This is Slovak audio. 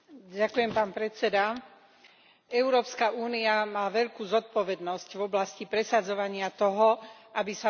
Európska únia má veľkú zodpovednosť v oblasti presadzovania toho, aby sa vo svete dodržiavali ľudské práva.